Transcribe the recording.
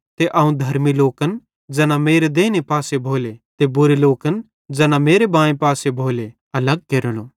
ते अवं धर्मी लोकन सेइं ज़ैना मेरे देइने पासे भोले ते बुरे लोकन ज़ैना मेरे बांए पासे भोले